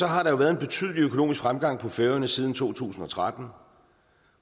har været en betydelig økonomisk fremgang på færøerne siden to tusind og tretten